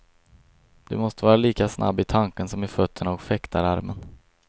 Du måste vara lika snabb i tanken som i fötterna och fäktararmen.